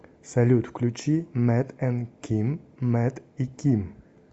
салют включи мэт энд ким мэт и ким